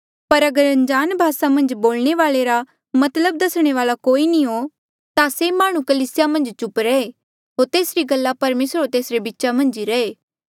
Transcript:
पर अगर अनजाण भासा मन्झ बोलणे वाल्आ रा मतलब दसणे वाल्आ कोई नी हो ता से माह्णुं कलीसिया मन्झ चुप रहे होर तेसरी गल्ला परमेसर होर तेसरे बीचा मन्झ ही रहे